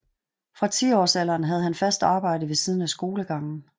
Fra tiårsalderen havde han fast arbejde ved siden af skolegangen